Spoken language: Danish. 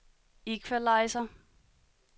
equalizer